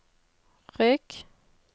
rygg